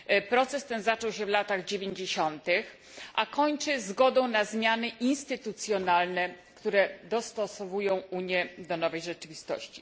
Proces ten zaczął się w latach dziewięćdziesiątych, a kończy się zgodą na zmiany instytucjonalne, które dostosowują Unię do nowej rzeczywistości.